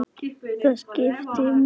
Það skiptir miklu máli, já.